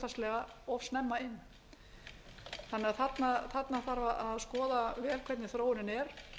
hlutfallslega of snemma inn þannig að þarna þarf að skoða vel hvernig þróunin er